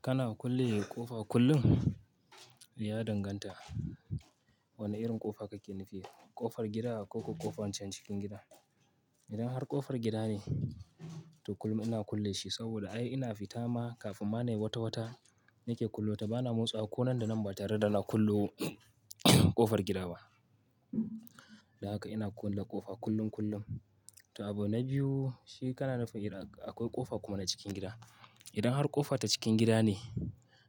Kana kulle ƙofa kullum? Ya danganta wanne irin ƙofa kake nufi. Ƙofar gida koko ƙofan can cikin gida. Idan har ƙofar gida ne, to kullum ina kulle shi saboda ai ina fita ma kafin ma nai wata wata nake kullo ta. Ba na motsa wa ko nan da nan ba tare da na kullo ƙofar gida ba. Haka ina kulle ƙofa kullum kullum. To abu na biyu shi kana nufi idan akwai ƙofa kuma na cikin gida. Idan har ƙofa ta cikin gida ne,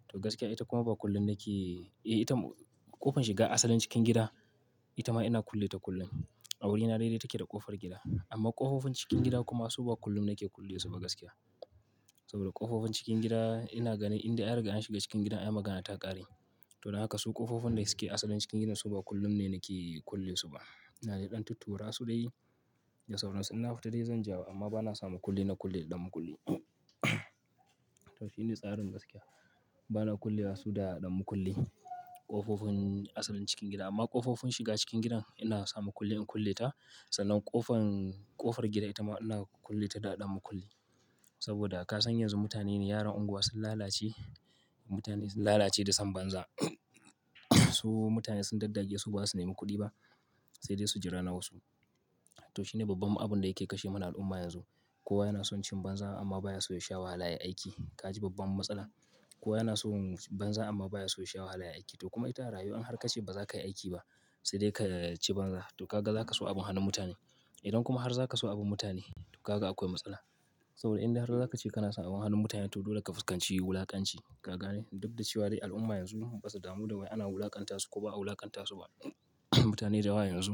to gaskiya ita kuma ba kullum nake, eh ita ƙofar shiga asalin cikin gida, ita ma ina kulle ta kullum. A wurina daidai take da ƙofar gida. Amma ƙofofin cikin gida kuma su ba kullum nake kulle su ba gaskiya. Saboda ƙofofin cikin gida ina ganin inda an riga an shiga cikin gidan, ai magana ta ƙare. To don haka su ƙofofin da suke asalin cikin gidan su ba kullum ne nake kulle su ba. Na ji ɗan tuttura su dai da sauron su. Ina fita dai zan jawo amma ba na samu kulle na kulle ɗan makulli. To shi ne tsarin gaskiya. Ba na kulle su da ɗan makulli ƙofofin asalin cikin gida. Amma ƙofofin shiga cikin gidan ina samu kulle in kulle ta. Sannan ƙofar, ƙofar gida ita ma ina kulle ta da ɗan makulli. Saboda ka san yanzu mutane ne yaran unguwa sun lalace. Mutane sun lalace da son banza. Su mutane sun daddage su ba su nemi kuɗi ba, sai dai su jira na wasu. To shi ne babban abin da yake kashe mana al'umma yanzu. Kowa yana son cin banza amma ba ya so ya sha wahala ya aiki. Ka ji babban matsala? Kowa yana so banza amma ba ya so ya sha wahala ya aiki. To kuma ita rayuwa in har ka ce ba za ka yi aiki ba, sai dai ka ci banza. To kaga za ka so abin hannun mutane. Idan kuma har za ka so abin mutane, to kaga akwai matsala. Saboda inda har ka ce kana son abin hannun mutane, to dole ka fuskanci wulakanci. Ka gane? Duk da cewa dai al'umma yanzu ba su damu da wai ana wulakantasu ko ba a wulakantasu ba. Mutane da yawa yanzu,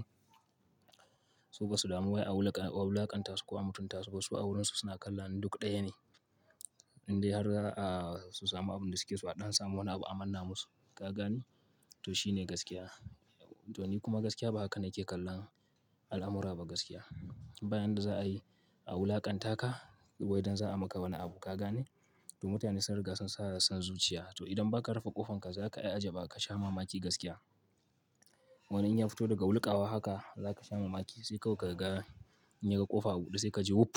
su ba su damu wai a wulakantasu ko a mutuntasu ba. Su a wurinsu suna kallon duk ɗaya ne. Indai har zaa su samu abin da suke so a ɗan samu wani abu a manna musu. Ka gane? To shi ne gaskiya. To ni kuma gaskiya ba haka nake kallon al'amura ba gaskiya. Bayan da za a yi a wulakanta ka ko idan za a maka wani abu. Ka gane? To mutane sun riga sun sanya san zuciya. To idan ba ka rufe ƙofanka za ka yi ajaba ka sha mamaki gaskiya. Wannan in ya fito daga wulƙawa haka za ka sha mamaki. Sai kawai ka ga in yaga ƙofa a buɗe sai ka ji wuf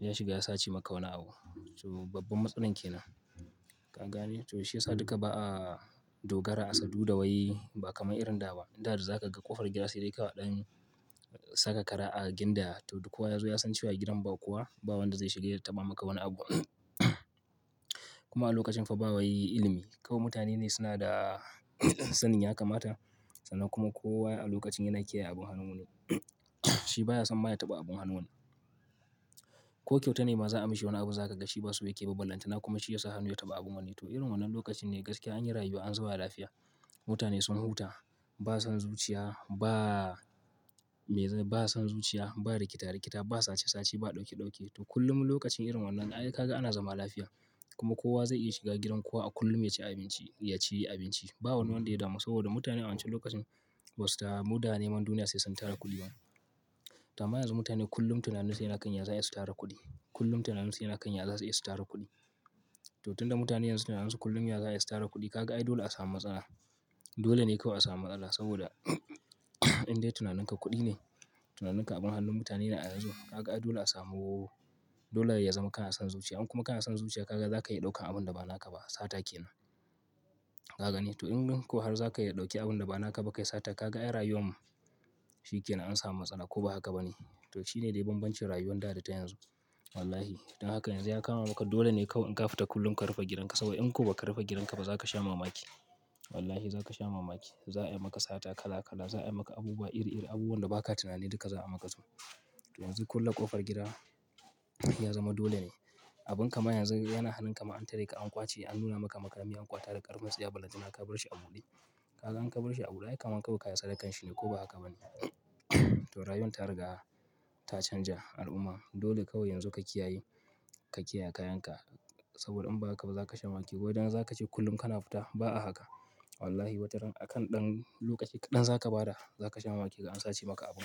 ya shiga ya sace maka wani abu. To babban matsalan kenan. Ka gane? To shi ya sa duka ba a dogara a saduda wai ba kamar irin da ba. Da da za ka ga ƙofar gida sai dai ka wa ɗan saka kara a ginda. To duk kowa ya zo ya san cewa gidan ba kowa, ba wanda zai shiga ya taɓa maka wani abu. Kuma a lokacin fa ba wai ilimi. Kawai mutane ne suna da sanin ya kamata. Sannan kuma kowa a lokacin yana kiyaye abin hannun wani. Shi baya son ma ya taɓa abin hannun wani. Ko kyauta ne ma za a mishi wani abu za ka ga shi ba su yake ba ballanta. Kuma shi ya sa hannu ya taɓa abin wani. To irin wannan lokacin ne gaskiya anyi rayuwa an zuba lafiya. Mutane sun huta, ba san zuciya, ba me, ba san zuciya, ba rikita rikita, ba sace sace, ba ɗauke ɗauke. To kullum lokacin irin wannan ai ka ga ana zama lafiya. Kuma kowa zai iya shiga gidan kowa a kullum ya ci abinci, ya ci abinci. Ba wani wanda ya damu saboda mutane a wancan lokacin basu damu da neman duniya sai sun tara kuɗi bane. To amma yanzu mutane kullum tunanin su yana kan yadda za su iya su tara kuɗi. Kullum tunanin su yana kan yadda za su iya su tara kuɗi. To tun da mutane yanzu tunanin su kullum ya za a iya su tara kuɗi, ka ga ai dole a samu matsala. Dole ne kawai a samu matsala saboda inda tunaninka kuɗi ne, tunaninka abin hannun mutane ne a yanzu. Ka ga ai dole a samu, dole ya zama kana son zuciya. In kuma kana son zuciya ka ga za ka iya ɗaukan abin da ba naka ba. Sata ke nan. Ka gane? To in ko har za ka iya ɗauke abin da ba naka ba kai sata. Ka ga ai rayuwan shi ke nan an samu matsala ko ba haka ba ne. To shi ne dai banbancin rayuwan da da ta yanzu. Wallahi. Don haka yanzu ya kama maka dole ne kawai in ka fita kullum ka rufe gidan ka. Saboda in ko ba ka rufe gidan ka ba za ka sha mamaki. Wallahi za ka sha mamaki. Za a yi maka sata kala kala. Za a yi maka abubuwa iri iri. Abubuwan da ba ka tunani duka za a maka su. To yanzu kulle ƙofar gida ya zama dole ne. Abin kama yanzu yana halin kama an tare ka an ƙwace. An nuna maka makami an ƙwace da ƙarafin tsiya ballanta ina ka bar shi a buɗe. Ka ga an ka bar shi a buɗe ai kamar kawai ka yi sadakan shi ne ko ba haka ba ne. To rayuwan ta riga ta canja al'umma. Dole kawai yanzu ka kiyaye, ka kiyaye kayan ka. Saboda in ba haka ba za ka sha mamaki. Ko idan za ka ce kullum kana fita, ba a haka. Wallahi wataran akan ɗan lokaci kaɗan za ka bada za ka sha mamaki ga an sace maka abu.